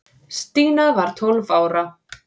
Stína var tólf ára.